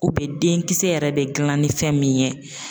U bɛ den kisɛ yɛrɛ de dilan ni fɛn min ye